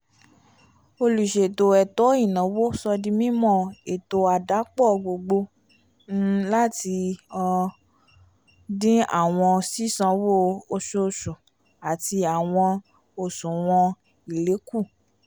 oluṣeto ètó ìnáwó sódì mimọ ètó àdàpọ̀ gbogbo um lati um din awọn sisanwo oṣooṣu ati awọn oṣuwọn èlé ku